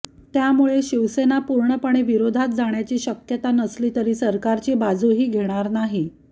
त्यामुळे शिवसेना पूर्णपणे विरोधात जाण्याची शक्यता नसली तरी सरकारची बाजूही घेणार नाही